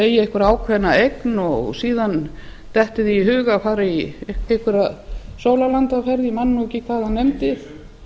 eigi einhverja ákveðna eign og síðan dettur þeim í hug að fara í einhverja sólarlandaferð ég man nú ekki hvað hann